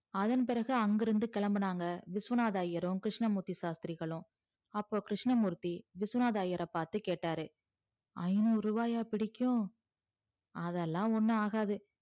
அதன் பிறகு அங்கு இருந்து கிளம்புனாங்க விஸ்வநாதர் ஐயரும் கிருஸ்னமூர்த்தி சாஸ்த்திரிகளும் அப்ப கிருஸ்ணமூர்த்தி விஸ்வநாதர் ஐயர் பாத்து கேட்டாரு ஐந்நூறுவாய பிடிக்கும் அதலா ஒன்னும் ஆகாது